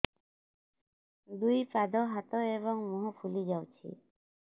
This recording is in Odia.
ଦୁଇ ପାଦ ହାତ ଏବଂ ମୁହଁ ଫୁଲି ଯାଉଛି